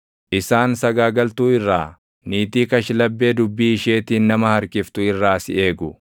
isaan sagaagaltuu irraa, niitii kashlabbee dubbii isheetiin nama harkiftu irraa si eegu.